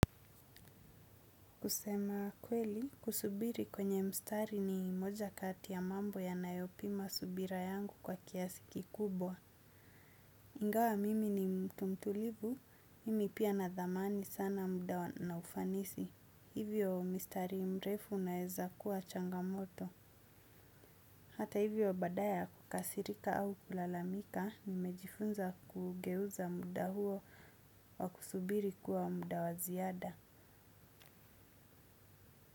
Kusema kweli, kusubiri kwenye mstari ni moja kati ya mambo ya nayopima subira yangu kwa kiasi kikubwa. Ingawa mimi ni mtu mtulivu, mimi pia nina dhamani sana muda na ufanisi. Hivyo mistari mrefu unaeza kuwa changamoto. Hata hivyo badala ya kukasirika au kulalamika, nimejifunza kuugeuza muda huo wa kusubiri kuwa muda wa ziada.